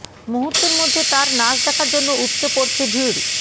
মুহূর্তের মধ্যে তার নাচ দেখার জন্য উপচে পড়ছে ভিড়